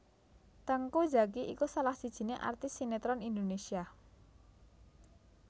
Teuku Zacky iku salah sijiné artis sineron Indonesia